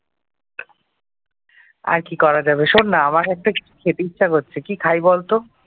আর কি করা যাবে শোন না আমার একটা খেতে ইচ্ছা করছে। আর কি খাওয়া যায় বলতো?